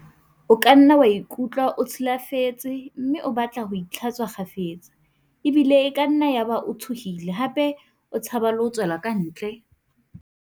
"O kanna wa ikutlwa o tshi lafetse mme o batle ho itlha-tswa kgafetsa, ebile e kanna ya ba o tshohile hape o tshaba le ho tswela kantle."